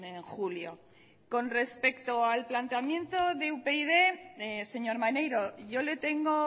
en julio con respecto al planteamiento de upyd señor maneiro yo le tengo